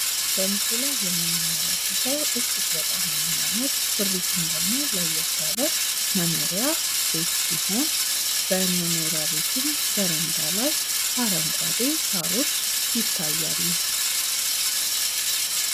በምስሉ ላይ የምንመለከተው እጅግ በጣም የሚያምር ስሪቱም ደግሞ ለየት ያለ መኖሪያ ቤት ሲሆን በመኖሪያ ቤቱ በረንዳም አረንጓዴ ሳሮች ይታያሉ ።